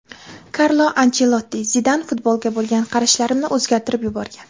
Karlo Anchelotti: Zidan futbolga bo‘lgan qarashlarimni o‘zgartirib yuborgan.